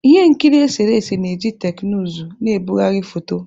Ihe nkiri eserese na-eji teknụzụ na-ebugharị foto